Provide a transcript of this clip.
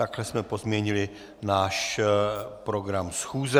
Takto jsme pozměnili náš program schůze.